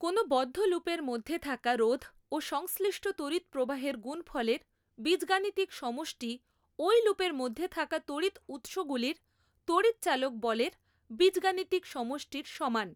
কোন বদ্ধ লুপের মধ্যে থাকা রোধ ও সংশ্লিষ্ট তড়িৎ প্রবাহের গুণফলের বীজগাণিতিক সমষ্টি ওই লুপের মধ্যে থাকা তড়িৎ উৎসগুলির তড়িৎচালক বলের বীজগাণিতিক সমষ্টির সমান।